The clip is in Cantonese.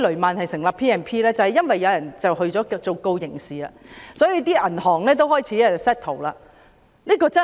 便是因為有人向法庭提出刑事訴訟，所以銀行才開始達成和解協議。